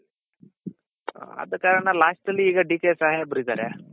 ಅದಕಾರಣ lastಲ್ಲಿ ಈಗ DK ಸಾಹೇಬ್ರಿದಾರೆ